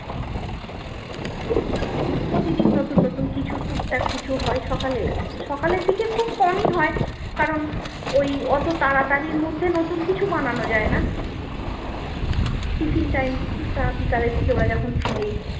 প্রতিদিন নতুন কিছু টুকটাক কিছু হয় সকালে সকালের দিকে খুব কমই হয় কারণ ওই অটো তাড়াতাতির মধ্যে নতুন কিছু বানানো যায়না tiffin time টা বিকালের দিকে ওরা যখন ফায়ার